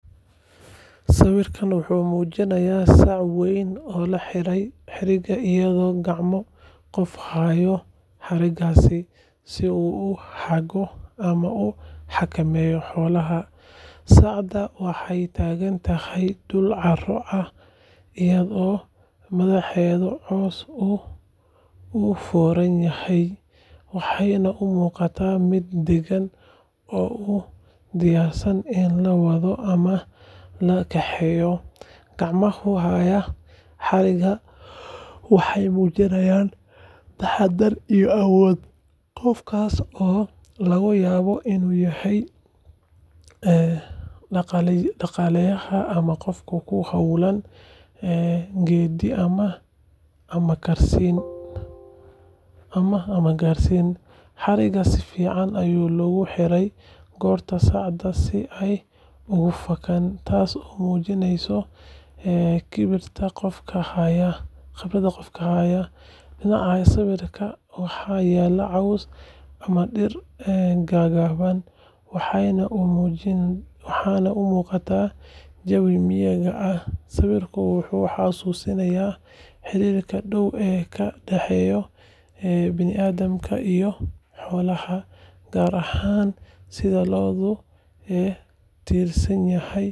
Sawirkan wuxuu muujinayaa sac weyn oo la xirtay xarig iyadoo gacmo qof hayo xariggaas si uu u hago ama u xakameeyo xoolaha. Sacda waxay taagan tahay dhul carro ah, iyadoo madaxeeda hoos u foorarsan yahay, waxayna u muuqataa mid degan oo u diyaarsan in la wado ama laga kaxeeyo. Gacmaha haya xarigga waxay muujinayaan taxaddar iyo awood, qofkaas oo laga yaabo inuu yahay dhaqaaleyahan ama qof ku hawlan geeddi ama qashin. Xarigga si fiican ayaa loogu xiray qoorta sacda si aanay uga fakinin, taasoo muujinaysa khibradda qofka haya. Dhinacyada sawirka waxaa yaal caws ama dhir gaagaaban, waxayna u muuqataa jawi miyiga ah. Sawirkan wuxuu xasuusinayaa xiriirka dhow ee ka dhexeeya bini’aadamka iyo xoolaha, gaar ahaan sida loogu tiirsan yahay xoolaha nolol maalmeedka bulshada.